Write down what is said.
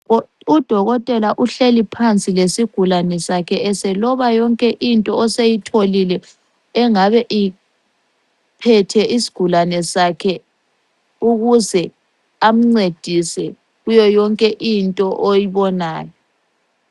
Udokotela uhleliphansi lesigulane sakhe eseloba yonke into oseyitholile, engabe iphethe isigulane sakhe, ukuze amncedise kuyoyonke into oyibonayo.